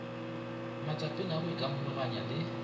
matsapeng a go ikamologanya le